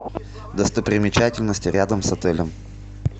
достопримечательности рядом с отелем